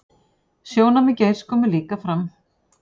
Sjónarmið Geirs komi líka fram